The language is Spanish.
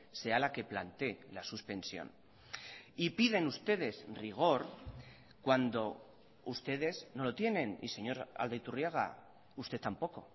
sea la que plantee la suspensión y piden ustedes rigor cuando ustedes no lo tienen y señor aldaiturriaga usted tampoco